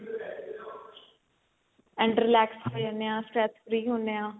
and relax free ਹੁੰਨੇ ਆ stress free ਹੁੰਨੇ ਆ